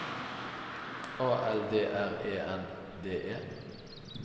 A L D R E N D E